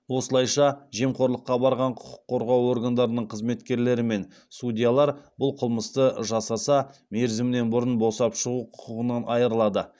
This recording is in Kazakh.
осылайша жемқорлыққа барған құқық қорғау органдарының қызметкерлері мен судьялар бұл қылмысты жасаса мерзімінен бұрын босап шығу құқығынан айырылады